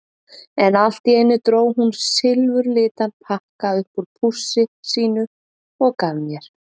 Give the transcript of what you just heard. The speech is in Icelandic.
En allt í einu dró hún silfurlitan pakka upp úr pússi sínu og gaf mér.